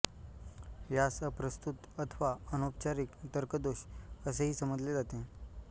यास अप्रस्तुत अथवा अनौपचारिक तर्कदोष असेही समजले जाते